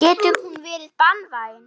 Getur hún verið banvæn.